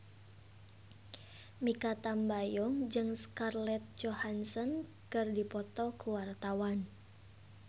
Mikha Tambayong jeung Scarlett Johansson keur dipoto ku wartawan